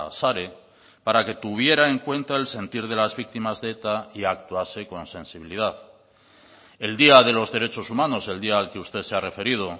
sare para que tuviera en cuenta el sentir de las víctimas de eta y actuarse con sensibilidad el día de los derechos humanos el día al que usted se ha referido